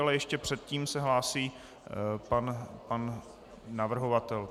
Ale ještě předtím se hlásí pan navrhovatel.